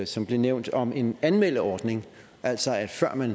som blev nævnt om en anmeldeordning altså at før man